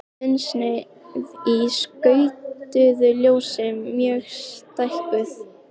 Þunnsneið í skautuðu ljósi mjög stækkuð.